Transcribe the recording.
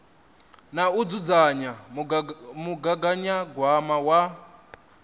na u dzudzanya mugaganyagwama wa